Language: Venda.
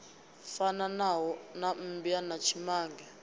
fanaho na mmbwa na tshimange